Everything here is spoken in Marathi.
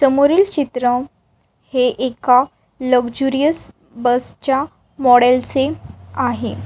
समोरिल चित्र हे एका लक्जुरीअस बस च्या मोडेल चे आहे.